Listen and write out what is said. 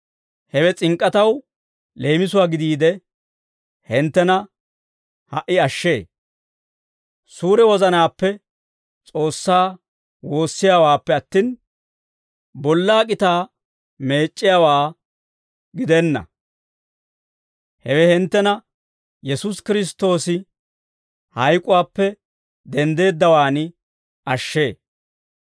Hewe s'ink'k'ataw leemisuwaa gidiide, hinttena ha"i ashshee; suure wozanaappe S'oossaa woossiyaawaappe attin, bollaa k'itaa meec'c'iyaawaa gidenna; hewe hinttena Yesuusi Kiristtoosi hayk'uwaappe denddeeddawaan ashshee.